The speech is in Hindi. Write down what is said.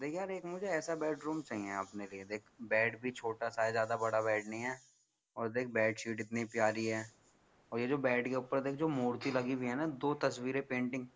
देख यार एक मुझे एसा बेडरूम चाहिए अपने लिए देख भी छोटा सा है ज्यादा बड़ा बेड नहीं है देख यार बेडशीट भी कितनी प्यारी है और ये बेड के ऊपर जो मूर्ती लगी हुई है दो तस्वीरे पेंटिंग